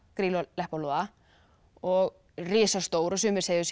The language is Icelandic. Grýlu og Leppalúða og risastór sumir segja að